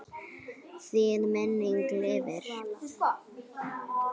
Þín minning lifir.